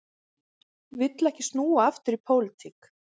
Vill ekki snúa aftur í pólitík